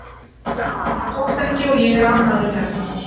En það tókst ekki og ég er ánægður hérna.